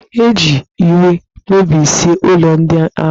E ji iwe mebisie ụlọ ndị ahụ